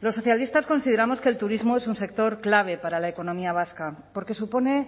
los socialistas consideramos que el turismo es un sector clave para la economía vasca porque supone